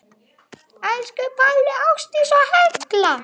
Elsku Palli, Ásdís og Hekla.